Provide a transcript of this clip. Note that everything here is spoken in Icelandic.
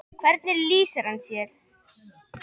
Hvernig lýsir hann sér?